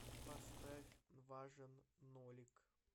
поставь важен нолик